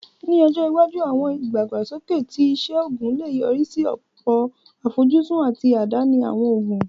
Ní ọjọ́ iwájú, àwọn ìdàgbàsókè ti iṣẹ́ oògùn lè yọrí sí ọ̀pọ̀ àfojúsùn àti àdáni àwọn òògùn